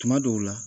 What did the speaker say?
Tuma dɔw la